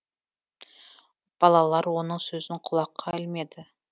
балалар оның сөзін құлаққа ілмеді